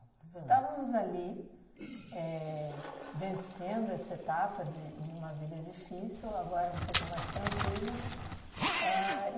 Estávamos ali éh vencendo essa etapa de de uma vida difícil, agora um pouco mais tranquilas. Ahn